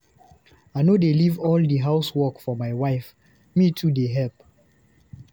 I no dey leave all di house work for my wife, me too dey helep.